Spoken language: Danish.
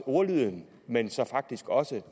ordlyden men så faktisk også